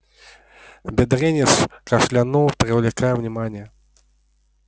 бедренец кашлянул привлекая внимание